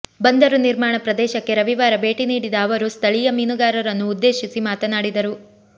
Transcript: ಬಂದರು ನಿರ್ಮಾಣ ಪ್ರದೇಶಕ್ಕೆ ರವಿವಾರ ಭೇಟಿನೀಡಿದ ಅವರು ಸ್ಥಳೀಯ ಮೀನುಗಾರರನ್ನು ಉದ್ದೇಶಿಸಿ ಮಾತನಾಡಿದರು